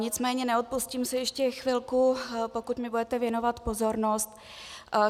Nicméně neodpustím si ještě chvilku, pokud mi budete věnovat pozornost.